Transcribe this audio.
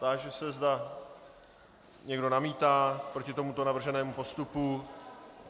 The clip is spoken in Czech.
Táži se, zda někdo namítá proti tomuto navrženému postupu.